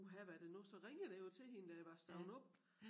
Uha hvad det nu så ringede jeg jo til hende da jeg var stået op